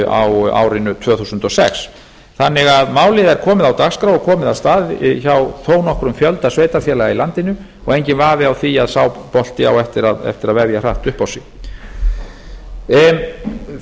á árinu tvö þúsund og sex málið er því komið á dagskrá og komið af stað hjá þó nokkrum fjölda sveitarfélaga í landinu og enginn vafi á því að sá bolti á eftir að vefja hratt upp á sig